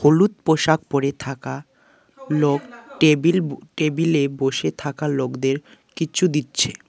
হলুদ পোশাক পড়ে থাকা লোক টেবিল টেবিলে বসে থাকা লোকদের কিছু দিচ্ছে।